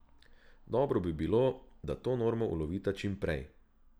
Dobro bi bilo, da to normo ulovita čim prej.